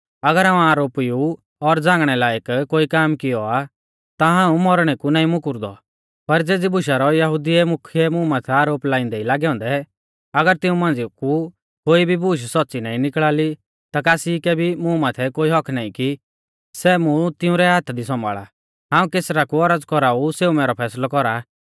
अगर हाऊं आरोपी ऊ और झ़ांगणै लायक कोई काम कियौ आ ता हाऊं मौरणै कु नाईं मुकुरदौ पर ज़ेज़ी बुशा रौ यहुदी मुख्यै मुं माथै आरोप लाइंदै ई लागौ औन्दै अगर तिऊं मांझ़िया कु कोई भी बूश सौच़्च़ नाईं निकल़ा ली ता कासी कै मुं माथै कोई हक्क्क नाईं कि सै मुं तिंउरै हाथा दी सौंभाल़ा हाऊं कैसरा कु औरज़ कौराऊ सेऊ मैरौ फैसलौ कौरा